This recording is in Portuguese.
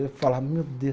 Eu falava, meu Deus.